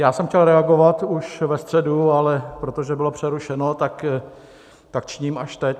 Já jsem chtěl reagovat už ve středu, ale protože bylo přerušeno, tak tak činím až teď.